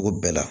O bɛɛ la